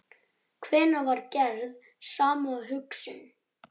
Þar standa mörg gömul hús ennþá í upprunalegri mynd.